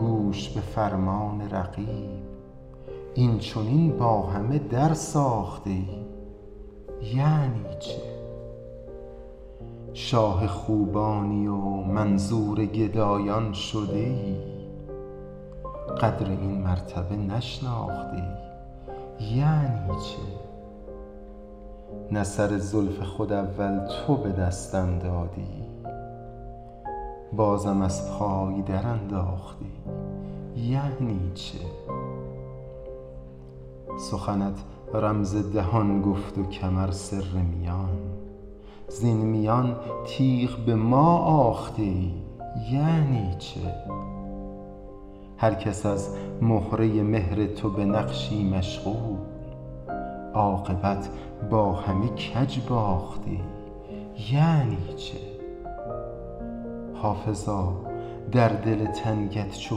گوش به فرمان رقیب این چنین با همه درساخته ای یعنی چه شاه خوبانی و منظور گدایان شده ای قدر این مرتبه نشناخته ای یعنی چه نه سر زلف خود اول تو به دستم دادی بازم از پای درانداخته ای یعنی چه سخنت رمز دهان گفت و کمر سر میان وز میان تیغ به ما آخته ای یعنی چه هر کس از مهره مهر تو به نقشی مشغول عاقبت با همه کج باخته ای یعنی چه حافظا در دل تنگت چو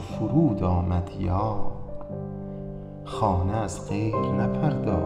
فرود آمد یار خانه از غیر نپرداخته ای یعنی چه